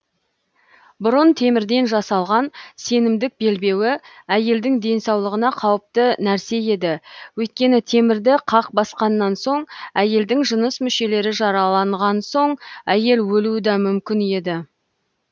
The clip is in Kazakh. бұрын темірден жасалған сенімдік белбеуі әйелдің денсаулығына қауіпті нәрсе еді өйткені темірді қақ басқаннан соң әйелдің жыныс мүшелері жараланған соң әйел өлуі да мүмкін еді